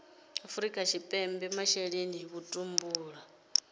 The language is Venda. afrika tshipembe masheleni a vhutumbuli